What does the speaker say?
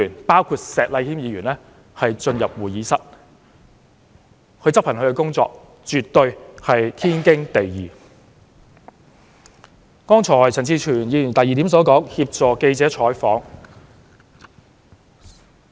保安執行他們的工作，絕對是天經地義。剛才陳志全議員提出的第二點，是協助記者採訪。